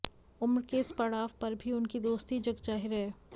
उम्र के इस पड़ाव पर भी उनकी दोस्ती जगजाहिर है